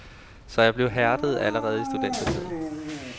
Så jeg blev hærdet allerede i studentertiden.